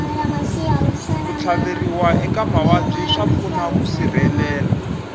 ku tlhaveriwa eka mavabyi swa pfuna ku sirhelela